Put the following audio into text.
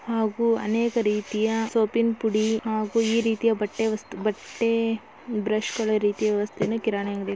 ಹಾಗು ಅನೇಕ್ ರೀತಿಯ ಸೊಪೀ ನ್ ಪುಡಿ ಹಾಗು ಈ ರೀತಿಯ ಬಟ್ಟೆ ವಸ್ತು ಬಟ್ಟೆ ಬ್ರಷ್ಗಳು ರೀತಿಯ ವ್ಯವಸ್ಥೆಯನ್ನು ಕಿರಾಣಿ ಅಂಗಡಿ--